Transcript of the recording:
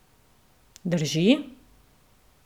Drži?